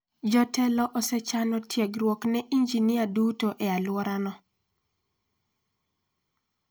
Jotelo osechano tiegruok ne injinia duto e alworano.